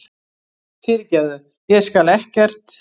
Fyrirgefðu. ég skal ekkert.